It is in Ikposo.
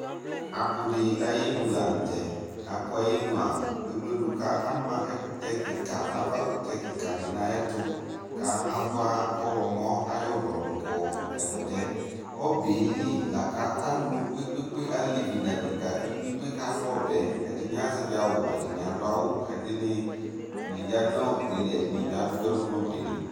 apʋ di ayinʋ lantɛ, apʋ ayinʋa ɛwlɛdʋ kʋ ama ɛkʋtɛ kikaa, aɣa kʋtɛ kikaa di nʋ ayɛtʋ ka abʋa ɔwlɔmɔ ayi ɔlɔ dʋ ka ɛkʋtɛ, ɔbɛli lakʋ alʋ kpekpekpe alɛvi nʋ adɛka kalʋ ɔbɛ, ɛdini azɛvi awʋ ɛdini adʋ awʋ ka ɛdini yanʋ ɔbɛli ɛdini bi adʋ ɛlʋ nʋ ɔbɛli